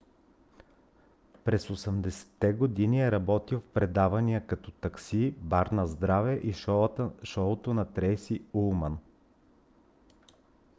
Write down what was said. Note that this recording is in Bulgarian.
през 1980-те години е работил в предавания като такси бар наздраве и шоуто на трейси улман